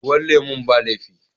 Ruwan lemun ba laifi.